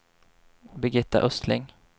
Birgitta Östling